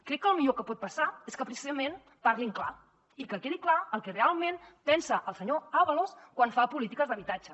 crec que el millor que pot passar és que precisament parlin clar i que quedi clar el que realment pensa el senyor ábalos quan fa polítiques d’habitatge